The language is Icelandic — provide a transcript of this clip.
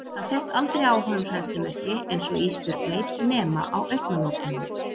Það sést aldrei á honum hræðslumerki, einsog Ísbjörg veit, nema á augnalokunum.